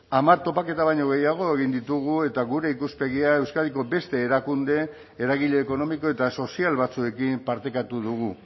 hamar topaketa eta baino gehiago egin ditugu eta gure ikuspegia euskadiko beste erakunde eragile ekonomiko eta sozial batzuekin partekatu dugu